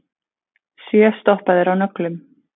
Sjö stoppaðir á nöglum